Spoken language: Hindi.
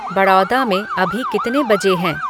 बड़ौदा में अभी कितने बजे हैं